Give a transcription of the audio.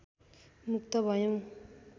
मुक्त भयौँ